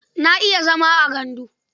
Na iya zama a gandu.